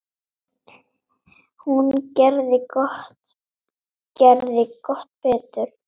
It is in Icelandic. Hún gerði gott betur.